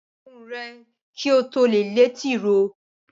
Ṣe irun rè kí o tó lé tìróò!